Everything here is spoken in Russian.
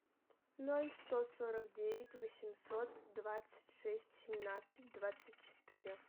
ноль сто сорок девять восемьсот двадцать шесть семнадцать двадцать четыре